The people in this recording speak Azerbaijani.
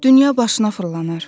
Dünya başına fırlanar.